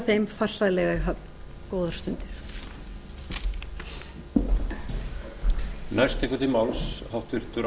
þeim farsællega í höfn góðar stundir hún klárast í fyrri spólu